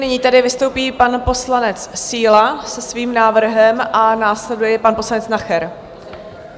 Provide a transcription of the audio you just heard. Nyní tedy vystoupí pan poslanec Síla se svým návrhem a následuje pan poslanec Nacher.